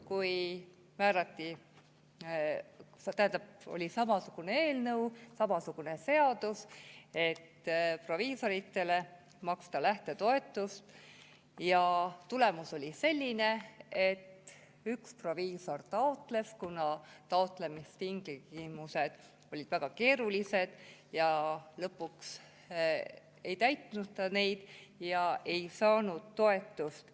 Kui oli samasugune eelnõu, samasugune seadus, et proviisoritele saaks maksta lähtetoetust, siis tulemus oli selline, et üks proviisor taotles, kuid kuna taotlemistingimused olid väga keerulised, siis ta lõpuks ei täitnud neid ja ei saanud toetust.